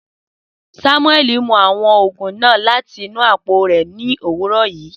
Samueli mu awọn oogun naa lati inu apo rẹ ni owurọ yii.